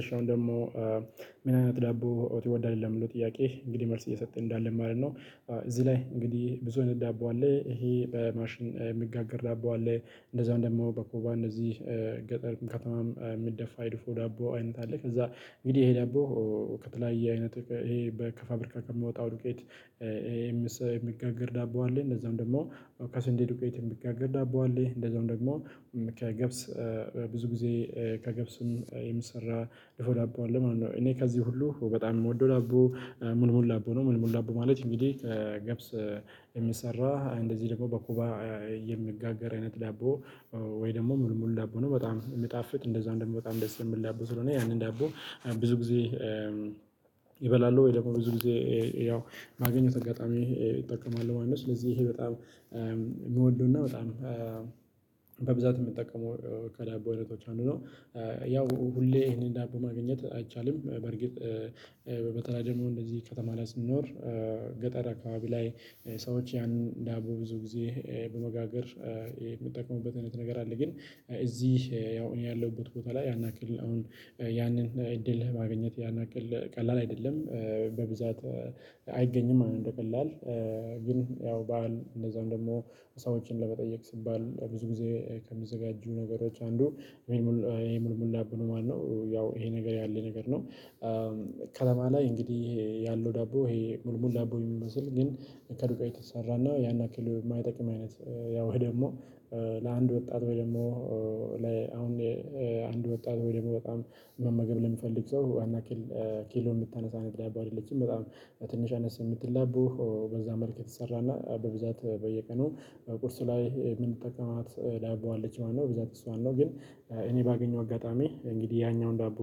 እሺ አሁን ደግሞ ምን አይነት ዳቦ ትወዳለህ ለሚለው ጥያቄ እንግዲህ መልስ እየሰጠን እንሄዳለን ማለት ነው። እዚህ ላይ እንግዲህ ብዙ አይነት ዳቦ አለ። ይሄ በማሽን የሚጋግር ዳቦ አለ እንደዛው ደግሞ በኮባ እንደዚህ። ገጠር ከተማ የሚደፋ የድፎ ዳቦ አይነት አለ። ከዛ እንግዲህ ይሄ ዳቦ ከተለያየ አይነት ይሄ ከፋብሪካ ከሚወጣው ዱቄት። የሚጋግር ዳቦ አለ እንደዛውም ደግሞ ከስንዴ ዱቄት የሚጋገር ዳቦ አለ እንደዛውም ደግሞ ከገብስ ብዙ ጊዜ ከገብስም የሚሰራ ድፎ ዳቦ አለ ማለት ነው። እኔ ከዚህ ሁሉ በጣም የምወደው ዳቦ ሙልሙል ዳቦ ነው። ሙልሙል ዳቦ ማለት እንግዲህ ከገብስ የሚሰራ እንደዚህ ደግሞ በኮባ የሚጋገር አይነት ዳቦ ወይ ደግሞ ሙልሙል ዳቦ ነው። በጣም የሚጣፍጥ እንደዛው ደግሞ በጣም ደስ የሚል ዳቦ ስለሆነ ያንን ዳቦ ብዙ ጊዜ እበላለው ወይ ደግሞ ብዙ ጊዜ ያው በአገኘሁት አጋጣሚ እጠቀማለው ማለት ነው። ስለዚህ ይሄ በጣም የምወደው እና በጣም በብዛት የምጠቀመው ከዳቦ አይነቶች አንዱ ነው። ያው ሁሌ ይሄንን ዳቦ ማግኘት አይቻልም በርግጥ በተለይ ደግሞ እንደዚህ ከተማ ላይ ስንኖር። ገጠር አካባቢ ላይ ሰዎች ያንን ዳቦ ብዙ ጊዜ በመጋገር የሚጠቀሙበት አይነት ነገር አለ። ግን እዚህ ያው እኔ ያለሁበት ቦታ ላይ ያን ያክል አሁን ያንን እድል ማግኘት ያን ያክል ቀላል አይደለም በብዛት አይገኝም ማለት ነው። እንደቀላል ግን ያው በዓል እንደዛም ደግሞ ሰዎችን ለመጠየቅ ሲባል ብዙ ጊዜ ከሚዘጋጁ ነገሮች አንዱ ሙልሙል ይሄ ሙልሙል ዳቦ ነው ማለት ነው። ያው ይሄ ነገር ያለ ነገር ነው። ከተማ ላይ እንግዲህ ይሄ ያለው ዳቦ ይሄ ሙልሙል ዳቦ የሚመስል ግን ከዱቄት የተሰራ እና ያን ያክል የማይጠቅም አይነት። ያው ይሄ ደግሞ ለአንድ ወጣት ወይ ደግሞ ለአሁን አንድ ወጣት ወይ ደግሞ በጣም መመገብ ለሚፈልግ ሰው ያን ያክል ኪሎ የምታነሳ እይነት ዳቦ አይደለችም በጣም ትንሽ አነስ የምትል ዳቦ በዛ መልክ የተሰራ እና በብዛት በየቀኑ ቁርስ ላይ የምንጠቀማት ዳቦ አለች ማለት ነው። በብዛት እሷን ነው ግን እኔ ባገኘው አጋጣሚ እንግዲህ ያኛውን ዳቦ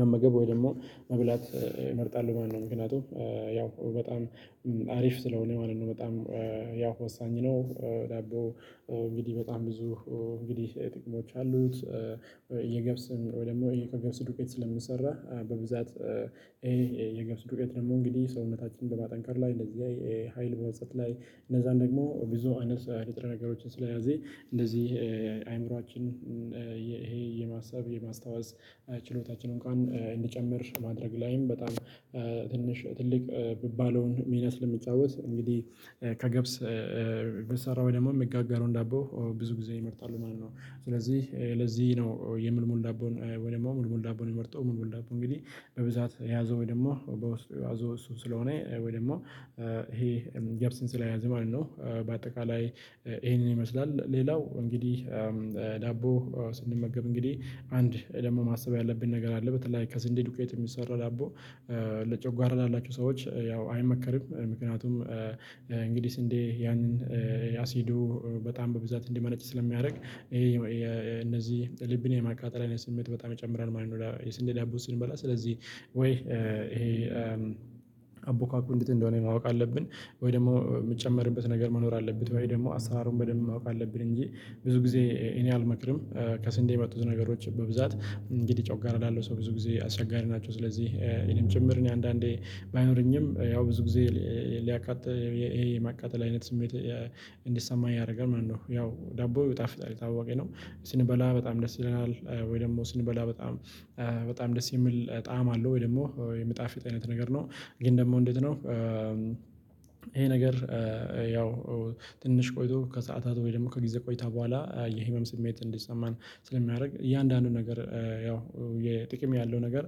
መመገብ ወይ ደግሞ መብላት እመርጣሉ ማለት ነው። ምክንያቱም ያው በጣም አሪፍ ስለሆነ ማለት ነው። በጣም ያው ወሳኝ ነው። ዳቦ እንግዲህ በጣም ብዙ እንግዲህ ጥቅሞች አሉት። የገብስም ወይ ደግሞ ከገብስ ዱቄት ስለሚሰራ በብዛት ይሄ የገብስ ዱቄት ደግሞ እንግዲህ ሰውነታችን በማጠንከር ላይ እንደዚህ ሀይል በመስጠት ላይ እነዛን ደግሞ ብዙ አይነት ንጥረ ነገሮችን ስለያዘ እንደዚህ አይምሮአችን ይሄ የማሰብ የማስታወስ ችሎታችንን እንኳን እንዲጨምር ማድረግ ላይም በጣም ትንሽ ትልቅ ሚባለውን ሚና ስለሚጫወት እንግዲህ ከገብስ ሚሰራው ወይም ደግሞ የሚጋረውን ዳቦ ብዙ ጊዜ እመርጣለው ማለት ነው። ስለዚህ ለዚህ ነው የሙልሙል ዳቦን ወይም ደግሞ ሙልሙል ዳቦን የምመርጠው ሙልሙል ዳቦ እንግዲህ በብዛት የያዘው ወይ ደግሞ በውስጡ የያዘው እሱ ስለሆነ ወይ ደግሞ ገብስን ስለያዘ ማለት ነው። በአጠቃላይ ይሄንን ይመስላል። ሌላው እንግዲህ ዳቦ ስንመገብ እንግዲህ አንድ ደግሞ ማሰብ ያለብን ነገር አለ። በተለይ ከስንዴ ዱቄት የሚሰራ ዳቦ ለጨጓራ ላላቸው ሰዎች ያው አይመከርም። ምክንያቱም እንግዲህ ስንዴ ያንን የአሲዱ በጣም በብዛት እንዲመነጭ ስለሚያደርግ ይሄ እነዚህ ልብን የማቃጠል አይነት ስሜት በጣም ይጨምራል ማለት ነው። የስንዴ ዳቦ ስንበላ ስለዚህ ወይ ይሄ አቦካኩ እንዴት እንደሆነ ማወቅ አለብን። ወይ ደግሞ የሚጨምርበት ነገር መኖር አለበት ወይ ደግሞ አሰራሩን በደንብ ማወቅ አለብን እንጂ ብዙ ጊዜ እኔ አልመክርም። ከስንዴ የመጡት ነገሮች በብዛት እንግዲህ ጮጓራ ላለው ሰው ብዙ ጊዜ አስቸጋሪ ናቸው። ስለዚህ እኔም ጭምር እኔ አንዳንዴ ባይኖረኝም ያው ብዙ ጊዜ ሊያቃጥል ይሄ ማቃጠል አይነት ስሜት እንዲሰማ ያደርጋል ማለት ነው። ያው ዳቦ ይጣፍጣል የታወቀ ነው። ስንበላ በጣም ደስ ይለናል ወይ ደግሞ ስንበላ በጣም በጣም ደስ የሚል ጣዕም አለው ወይ ደግሞ የሚጣፍጥ አይነት ነገር ነው። ግን ደግሞ እንዴት ነው? ይሄ ነገር ያው ትንሽ ቆይቶ ከሰአታት ወይ ደግሞ ከጊዜ ቆይታ በኋላ የህመም ስሜት እንዲሰማን ስለሚያደርግ እያንዳንዱ ነገር ያው የጥቅም ያለው ነገር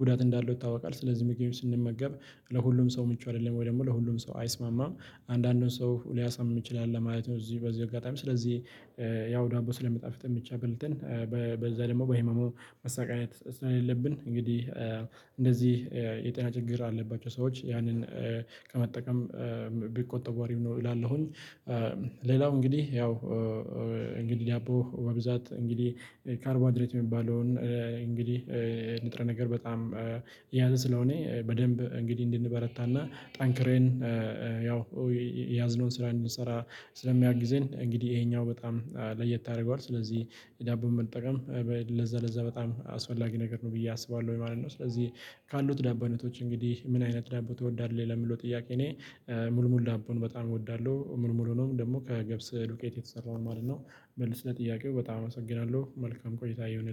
ጉዳት እንዳለው ይታወቃል ስለዚህ ምግብም ስንመገብ ለሁሉም ሰው ምቹ አይደለም። ወይ ደግሞ ለሁሉም ሰው አይስማማም። አንዳንዱን ሰው ሊያሳምም ይችላል ለማለት ነው። እዚህ በዚሁ አጋጣሚ ስለዚህ ያው ዳቦ ስለሚጣፍጠን ብቻ በልተን በዛ ደግሞ በህመሙ መሰቃየት ስለሌለብን እንግዲህ እንደዚህ የጤና ችግር አለባቸው ሰዎች ያንን ከመጠቀም ቢቆጠቡ አሪፍ ነው። እላለሁኝ። ሌላው እንግዲህ ያው እንግዲህ ዳቦ በብዛት እንግዲህ ካርቦሃይድሬት የሚባለውን እንግዲህ ንጥረ ነገር በጣም የያዘ ስለሆነ በደንብ እንግዲህ እንድንበረታ እና ጠንክረን ያው ያዝነውን ስራ እንድንሰራ ስለሚያግዘን እንግዲህ ይሄኛው በጣም ለየት ያደርገዋል። ስለዚህ ዳቦን መጠቀም ለዛ ለዛ በጣም አስፈላጊ ነገር ነው ብዬ አስባለሁኝ ማለት ነው። ስለዚህ ካሉት ዳቦ አይነቶች እንግዲህ ምን አይነት ዳቦ ትወዳለህ? ለሚለው ጥያቄ እኔ ሙልሙል ሙልሙል ዳቦን በጣም እወዳለሁ ሙልሙሉንም ደግሞ ከገብስ ዱቄት የተሰራውን ማለት ለጥያቄው በጣም አመሰግናለሁ። መልካም ቆይታ ይሁን